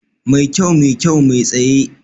Mai kyau, mai kyau, mai tsaye